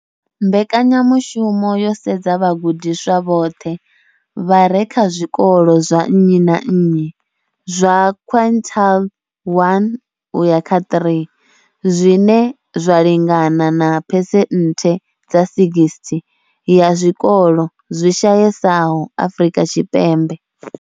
Mbekanya mushumo yo sedza vhagudiswa vhoṱhe vha re kha zwikolo zwa nnyi na nnyi zwa quintile 1 uya kha 3, zwine zwa lingana na phesenthe dza 60 ya zwikolo zwi shayesaho Afrika Tshipembe.